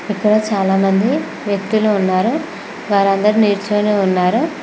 ఇక్కడ చాలా మంది వ్యక్తులు ఉన్నారు వారందరు నిల్చొని ఉన్నారు